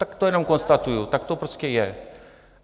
Tak to jenom konstatuji, tak to prostě je.